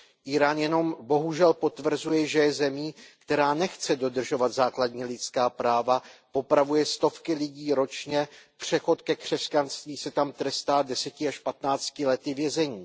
Írán jenom bohužel potvrzuje, že je zemí, která nechce dodržovat základní lidská práva, popravuje stovky lidí ročně, přechod ke křesťanství se tam trestá deseti až patnácti lety vězení.